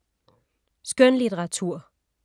Skønlitteratur